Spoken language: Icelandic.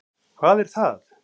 Hvað er það?